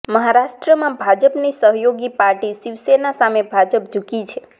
મહારાષ્ટ્રમાં ભાજપની સહયોગી પાર્ટી શિવસેના સામે ભાજપ જુકી છે